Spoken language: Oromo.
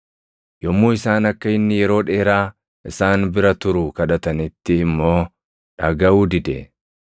Yommuu isaan akka inni yeroo dheeraa isaan bira turu kadhatanitti immoo dhagaʼuu dide.